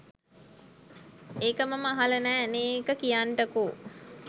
ඒක මම අහලා නෑ නේඒක කියන්ටකෝ